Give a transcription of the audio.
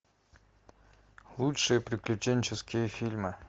лучшие приключенческие фильмы